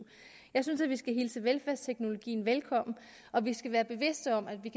jeg synes at vi skal hilse velfærdsteknologien velkommen og at vi skal være bevidste om at vi